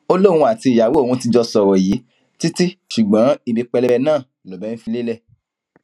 ó lóun àtìyàwó òun ti jọ sọrọ yìí títí ṣùgbọn ibi pẹlẹbẹ náà lọbẹ fi ń lélẹ